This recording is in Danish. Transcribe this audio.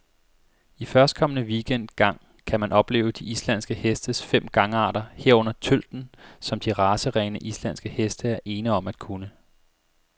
I førstkommende weekend gang kan man opleve de islandske hestes fem gangarter, herunder tølten, som de racerene, islandske heste er ene om at kunne.